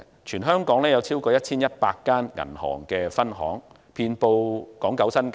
全香港有超過 1,100 家銀行分行，遍布港九新界。